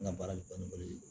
N ka baara kɔni ye